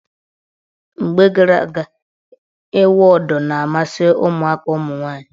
Mgbe gara aga, ịwụ ụdọ na-amasị ụmụaka ụmụnwaanyị.